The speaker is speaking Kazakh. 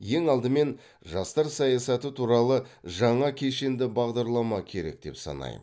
ең алдымен жастар саясаты туралы жаңа кешенді бағдарлама керек деп санаймын